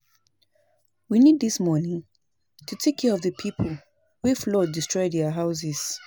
We need dis money to take care of the people wey flood destroy their houses